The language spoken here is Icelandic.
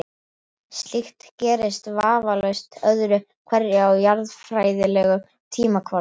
Slíkt gerist vafalaust öðru hverju á jarðfræðilegum tímakvarða.